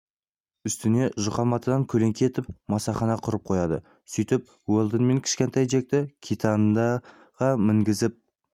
үстіне жұқа матадан көлеңке етіп масахана құрып қояды сөйтіп уэлдон мен кішкентай джекті китандаға мінгізіп